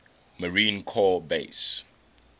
marine corps base